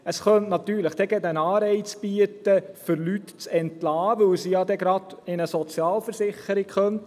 Dies könnte gerade ein Anreiz für die Entlassung von Leuten bieten, weil sie ja dann gerade in eine Sozialversicherung kommen könnten.